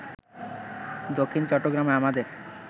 দক্ষিণ চট্টগ্রামে আমাদের